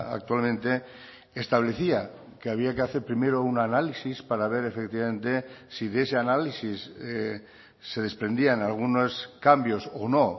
actualmente establecía que había que hacer primero un análisis para ver efectivamente si de ese análisis se desprendían algunos cambios o no